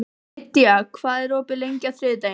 Lydia, hvað er opið lengi á þriðjudaginn?